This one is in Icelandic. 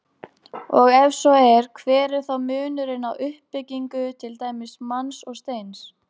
Og ef svo er, hver er þá munurinn á uppbyggingu til dæmis manns og steins?